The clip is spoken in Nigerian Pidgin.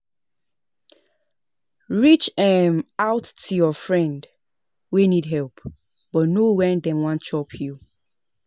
Reach um out to your friend wey need help but know when dem wan chop you